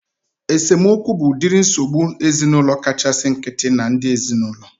Esemokwu bụ udiri nsogbu ezinaụlọ kachasị nkịtị na ndị ezinaụlọ